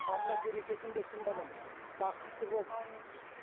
алла берекетін берсін балам аумин бақытты бол аумин